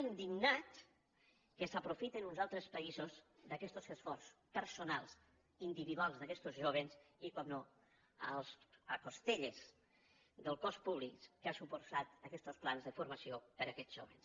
indignats que s’aprofiten uns altres països d’aquestos esforços personals individuals d’aquestos jóvens i naturalment a les costelles del cost públic que han suposat aquestos plans de formació per a aquests jóvens